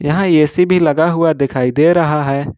यहां ए_सी भी लगा हुआ दिखाई दे रहा है।